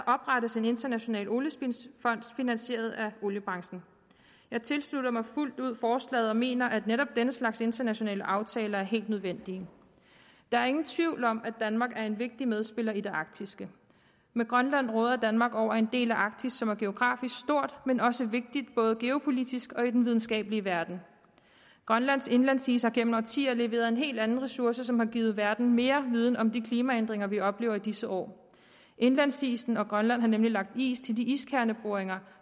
oprettes en international oliespildsfond finansieret af oliebranchen jeg tilslutter mig fuldt ud forslaget og mener at netop denne slags internationale aftaler er helt nødvendige der er ingen tvivl om at danmark er en vigtig medspiller i det arktiske med grønland råder danmark over en del af arktis som er geografisk stort men også vigtigt både geopolitisk og i den videnskabelige verden grønlands indlandsis har gennem årtier leveret en helt anden ressource som har givet hele verden mere viden om de klimaændringer vi oplever i disse år indlandsisen og grønland har nemlig lagt is til de iskerneboringer